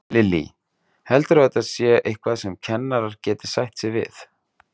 Lillý: Heldurðu að þetta sé eitthvað sem kennarar geti sætt sig við?